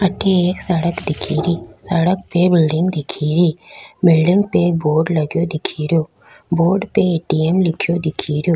अठे एक सड़क दिखेरी सड़क पे बिल्डिंग दिखेरी बिल्डिंग पे एक बोर्ड लगयो दिख रियो बोर्ड पे ए.टी.एम. लिख्यो दिखरियो।